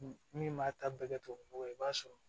Min b'a ta bɛɛ kɛ tubabu nɔgɔ ye i b'a sɔrɔ